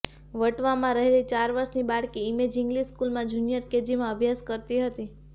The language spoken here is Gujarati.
વટવામાં રહેતી ચાર વર્ષની બાળકી ઇમેઝ ઇંગ્લિશ સ્કૂલમાં જુનિયર કેજીમાં અભ્યાસ કરતી હતી